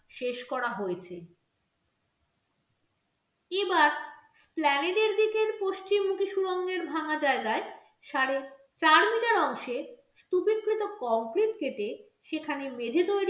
শেষ করা হয়েছে এবার প্লানেডের দিকের পশ্চিমমুখী সুরঙ্গের ভাঙ্গা জায়গায় চার metre অংশে স্তুপীকৃত concrete কেটে সেখানে মেঝে তৈরী